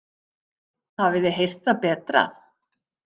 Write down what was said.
Hafið þið heyrt það betra.